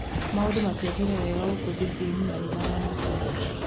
Maũndũ matiathiire wega gũkũ Thibĩin, na nĩ maramakia.